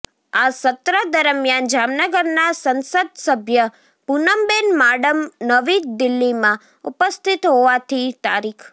આ સત્ર દરમ્યાન જામનગરના સંસદસભ્ય પુનમબેન માડમ નવી દીલ્હીમાં ઉપસ્થિત હોવાથી તા